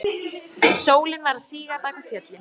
Sólin var að síga bak við fjöllin.